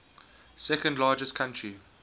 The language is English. second largest country